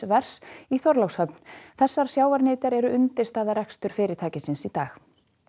vers í Þorlákshöfn þessar sjávarnytjar eru undirstaða reksturs fyrirtækisins í dag